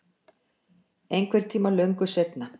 Einhvern tíma löngu seinna.